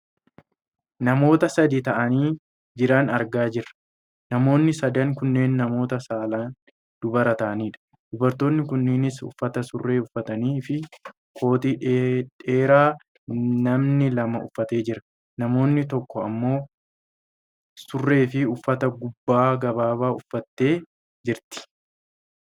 Namoota sadi ta'anii jiran argaa jirra. Namoonni sadan kunneen namoota saalaan dubara ta'anidha dubartoonni kunneenis uffata surree uffatanii fi kootii dhedheeraa namni lama uffatee jira . Namni tokko ammoo surreefi uffata gubbaa gabaabaa uffattee jirti.